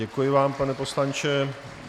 Děkuji vám, pane poslanče.